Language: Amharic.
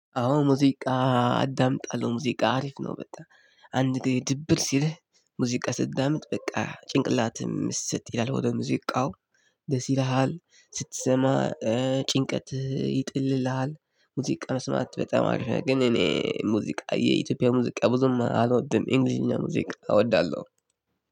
አዎ ሙዚቃ አዳምጣለሁ ሙዚቃ አሪፍ ነው። በጣም አንድ ላይ ድብር ሲልህ ሙዚቃ ስታዳምጥ በቃ ጭንቅላትም ምስጥ ይላል ወደ ሙዚቃው። ደስ ይልሃል ስትሰማ ጭንቀትህን ይጥልልሃል። ሙዚቃ መስማት በጣም ነው። እኔ ሙዚቃ የኢትዮጵያ ሙዚቃ አልወድም የ እንግሊዘኛ ሙዚቃ እወዳለሁ።